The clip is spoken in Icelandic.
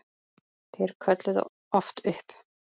Þeir kölluðu oft upp